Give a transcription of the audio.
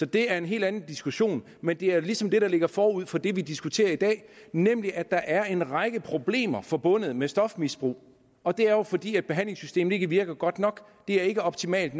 det er en helt anden diskussion men det er ligesom det der ligger forud for det vi diskuterer i dag nemlig at der er en række problemer forbundet med stofmisbrug og det er jo fordi behandlingssystemet ikke virker godt nok det er ikke optimalt